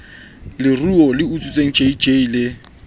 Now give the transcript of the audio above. leruo le utswitsweng jj le